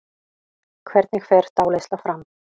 Hvernig fer dáleiðsla fram?